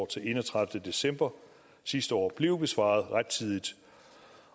til enogtredivete december sidste år blev besvaret rettidigt